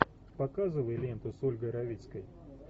показывай ленту с ольгой равицкой